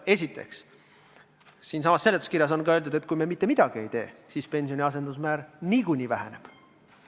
Esiteks, siinsamas seletuskirjas on öeldud, et kui me mitte midagi ei tee, siis pensioni asendusmäär niikuinii väheneb.